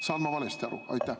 Saan ma valesti aru?